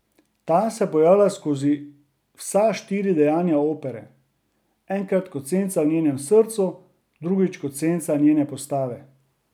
Ta se pojavlja skozi vsa štiri dejanja opere, enkrat kot senca v njenem srcu, drugič kot senca njene postave.